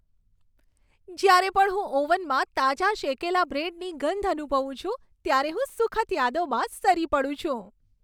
જ્યારે પણ હું ઓવનમાં તાજા શેકેલા બ્રેડની ગંધ અનુભવું છું ત્યારે હું સુખદ યાદોમાં સરી પડું છું.